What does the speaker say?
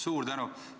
Suur tänu!